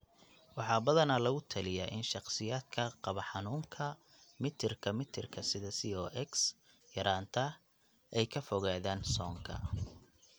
Waxaa badanaa lagu taliyaa in shakhsiyaadka qaba xanuunka mitirka mitirka sida COX yaraanta ay ka fogaadaan soonka.